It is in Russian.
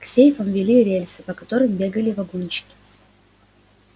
к сейфам вели рельсы по которым бегали вагончики